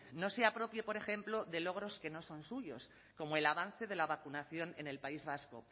no se apropie por ejemplo de logros que no son suyos como el avance de la vacunación en el país vasco